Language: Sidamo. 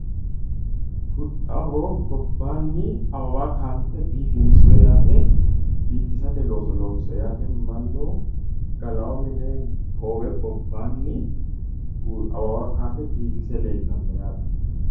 huxxaho gobbanni awawa kanse biifinso yate mannu gallao mine hoowe gobbani awawa kase biifise leellano yate